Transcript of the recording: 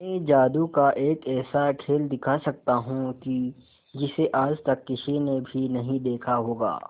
मैं जादू का एक ऐसा खेल दिखा सकता हूं कि जिसे आज तक किसी ने भी नहीं देखा होगा